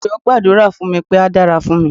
Moyo gbàdúrà fún mi pé á dára fún mi.